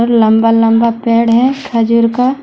लंबा लंबा पेड़ है खजूर का--